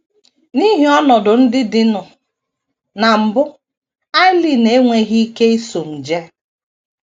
N’ihi ọnọdụ ndị dịnụ, na mbụ, Aileen enweghị ike iso m jee.